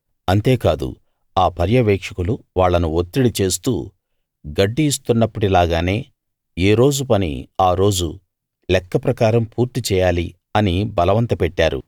అంతేకాదు ఆ పర్యవేక్షకులు వాళ్ళను ఒత్తిడి చేస్తూ గడ్డి ఇస్తున్నప్పటి లాగానే ఏ రోజు పని ఆ రోజు లెక్క ప్రకారం పూర్తి చేయాలి అని బలవంతపెట్టారు